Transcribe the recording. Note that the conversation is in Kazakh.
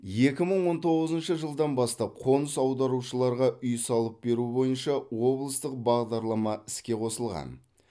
екі мың он тоғызыншы жылдан бастап қоныс аударушыларға үй салып беру бойынша облыстық бағдарлама іске қосылған